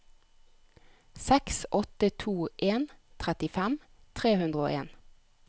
seks åtte to en trettifem tre hundre og en